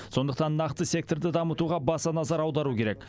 сондықтан нақты секторды дамытуға баса назар аудару керек